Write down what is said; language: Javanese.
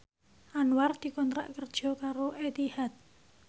Anwar dikontrak kerja karo Etihad